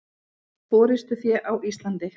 Forystufé á Íslandi.